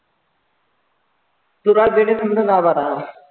सुरुवात देतीन समजा दहा बारा